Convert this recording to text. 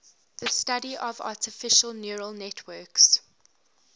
the study of artificial neural networks